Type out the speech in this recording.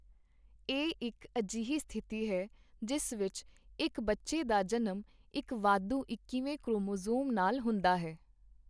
ਇਹ ਇੱਕ ਅਜਿਹੀ ਸਥਿਤੀ ਹੈ, ਜਿਸ ਵਿੱਚ ਇੱਕ ਬੱਚੇ ਦਾ ਜਨਮ ਇੱਕ ਵਾਧੂ ਇੱਕੀਵੇਂ ਕ੍ਰੋਮੋਸੋਮ ਨਾਲ ਹੁੰਦਾ ਹੈ।